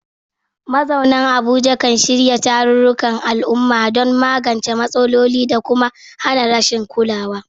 Mazauna Abuja kan shirya tarurrukan al'umma don magance matsalolin da kuma hana rashin kulawa.